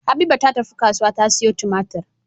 Habiba ta tafi kasuwa ta siyo tumatir